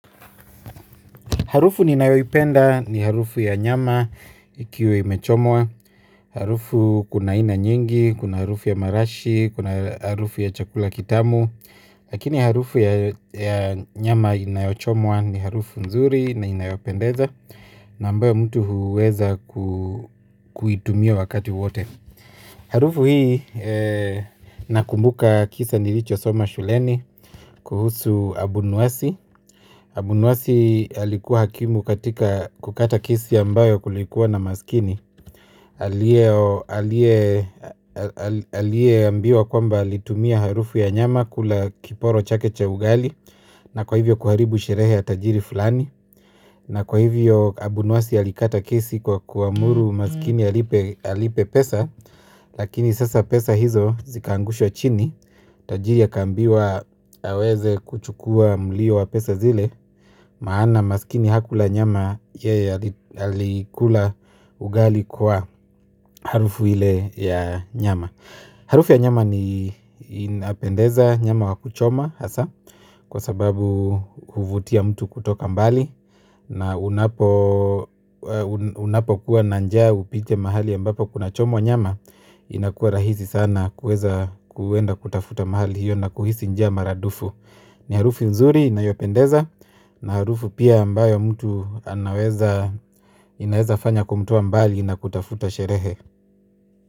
Harufu ninayoipenda ni harufu ya nyama ikiwa imechomwa. Harufu kuna aina nyingi, kuna harufu ya marashi, kuna harufu ya chakula kitamu. Lakini harufu ya nyama inayochomwa ni harufu nzuri na inayopendeza. Na ambayo mtu huweza kuitumia wakati wote. Harufu hii nakumbuka kisa nilicho soma shuleni kuhusu abunwasi. Abunwasi alikuwa hakimu katika kukata kesi ambayo kulikuwa na maskini aliye ambiwa kwamba alitumia harufu ya nyama kula kiporo chake cha ugali. Na kwa hivyo kuharibu sherehe ya tajiri fulani. Na kwa hivyo abunwasi alikata kesi kwa kuamuru maskini alipe pesa. Lakini sasa pesa hizo zikaangushwa chini. Tajiri akaambiwa aweze kuchukua mulio wa pesa zile. Maana maskini hakula nyama yeye alikula ugali kwa harufu ile ya nyama. Harufu ya nyama ni inapendeza nyama wa kuchoma hasa. Kwa sababu huvutia mtu kutoka mbali. Na unapo kuwa na njaa upite mahali ambapo kuna chomwa nyama. Inakuwa rahisi sana kuweza kuenda kutafuta mahali hiyo na kuhisi njaa maradufu. Ni harufu mzuri inayopendeza na harufu pia ambayo mtu anaweza inaweza fanya kumtoa mbali na kutafuta sherehe.